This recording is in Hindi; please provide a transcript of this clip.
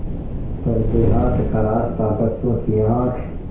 पर देहात का रास्ता बच्चों की आँख